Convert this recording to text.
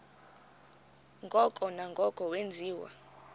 ngoko nangoko wenziwa